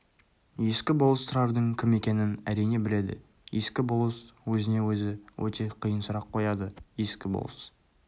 ескі болыс тұрардың кім екенін әрине біледі ескі болыс өзіне-өзі өте қиын сұрақ қояды ескі болыс